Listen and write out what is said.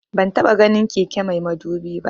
Ban taba ganin keke mai madubi ba